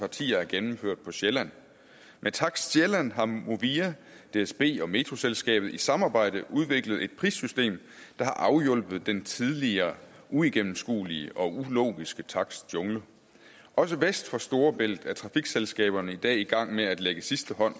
partier er gennemført på sjælland med takst sjælland har movia dsb og metroselskabet i samarbejde udviklet et prissystem der har afhjulpet den tidligere uigennemskuelige og ulogiske takstjungle også vest for storebælt er trafikselskaberne i dag i gang med at lægge sidste hånd